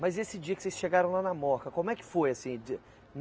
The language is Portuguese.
Mas esse dia que vocês chegaram lá na Moca, como é que foi assim?